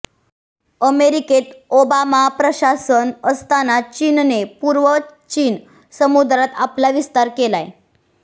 अमेरिकेत ओबामा प्रशासन असतांना चीनने पूर्व चीन समुद्रात आपला विस्तार केलाय